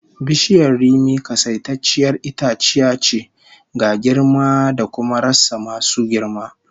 Bishiyar rimi kasaitacciyar itaciya ce, ga girma cda kuma rassa masu girma